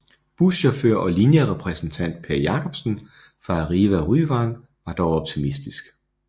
Buschauffør og linjerepræsentant Per Jacobsen fra Arriva Ryvang var dog optimistisk